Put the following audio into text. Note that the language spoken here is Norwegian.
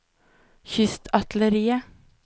kystartilleriet